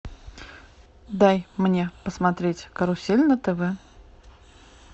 дай мне посмотреть карусель на тв